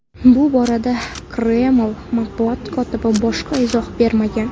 Bu borada Kreml matbuot kotibi boshqa izoh bermagan.